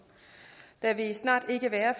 der vil snart ikke være